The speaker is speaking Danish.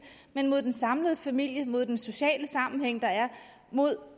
men mod den samlede familie mod den sociale sammenhæng der er mod